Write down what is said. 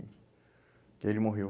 E ele morreu.